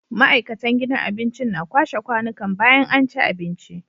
Ma'aikatan gidan abincin na kwashe kwanikan bayan anci abinci